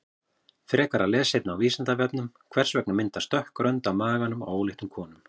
Frekara lesefni á Vísindavefnum: Hvers vegna myndast dökk rönd á maganum á óléttum konum?